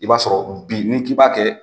I b'a sɔrɔ bi n'i k'i b'a kɛ.